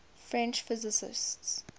french physicists